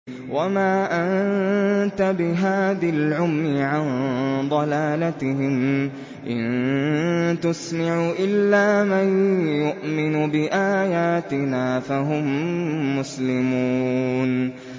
وَمَا أَنتَ بِهَادِ الْعُمْيِ عَن ضَلَالَتِهِمْ ۖ إِن تُسْمِعُ إِلَّا مَن يُؤْمِنُ بِآيَاتِنَا فَهُم مُّسْلِمُونَ